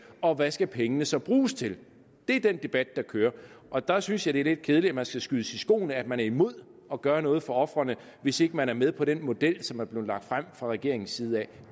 og hvad skal pengene så bruges til det er den debat der kører og der synes jeg at det er lidt kedeligt at man skal skydes i skoene at man er imod at gøre noget for ofrene hvis ikke man er med på den model som er blevet lagt frem fra regeringens side